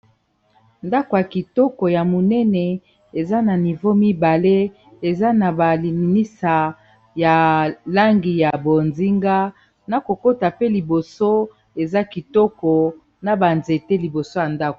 Ndako ya kitoko ya monene eza na nivo mibale eza na balinisa ya langi ya bozinga, na kokota pe liboso eza kitoko na ba nzete liboso ya ndako